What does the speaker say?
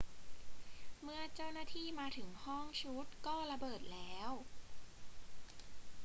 เมื่อเจ้าหน้าที่มาถึงห้องชุดก็ระเบิดแล้ว